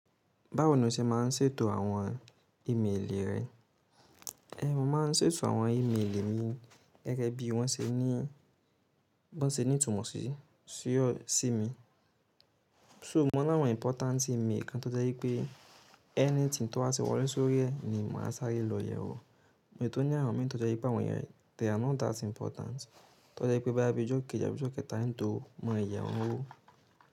Báwo ni o ṣe máa ń ṣètò àwọn ìméèlì rẹ? Mo máa ń ṣètò àwọn ìméèlì mi gẹ́gẹ́ bí wọ́n ṣe ní, wọ́n ṣe ní ìtumọ̀ sí, sí mi. So mo l'awọn important email kan to jẹ wipe anything to ba ti wọle so ri ẹ ni maa sare lọ yẹ wo Onií àwọn mìí tó jẹ́ wipé àwọn iyẹn they are not that important, tó jẹ́ pé boya bi ijọ́ keji, abi íjọ́ kẹ̀ta n tó mọ yẹ wọn wò.